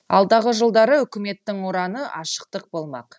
алдағы жылдары үкіметтің ұраны ашықтық болмақ